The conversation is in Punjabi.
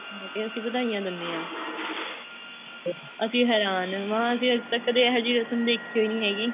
ਅਸੀਂ ਵਧਾਈਆਂ ਦਿੰਦੇ ਹਾਂ ਅਸੀਂ ਹੈਰਾਨ ਮਹਾਂ ਅਸੀਂ ਤਾਂ ਕਦੇ ਇਹੋ ਜਿਹੀ ਰਸਮ ਦੇਖਿਓ ਨਹੀਂ ਹੈਗੀ